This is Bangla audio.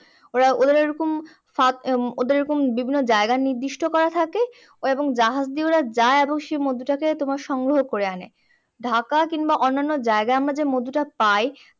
ওরা, ওদের এই রকম ওদের এই রকম বিভিন্ন জায়গা নির্দিষ্ট করা থাকে এবং জাহাজ নিয়ে যায় এবং সেই মধু টাকে তোমার সংগ্রহ করে আনে। ঢাকা কিংবা অন্যান্য জায়গায় আমরা যে মধুটা পাই